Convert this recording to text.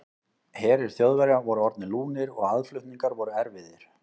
Herir Þjóðverja voru orðnir lúnir og aðflutningar voru erfiðir.